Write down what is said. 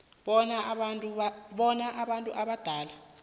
bona abantu abadala